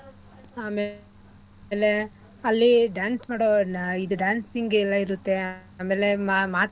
ಆಮೇಲೆ ಅಲ್ಲಿ dance ಮಾಡೋ ಇದು dancing ಗೆ ಎಲ್ಲಾ ಇರುತ್ತೆ ಆಮೇಲೆ ಮಾ~ ಮಾತ್ಗಳು.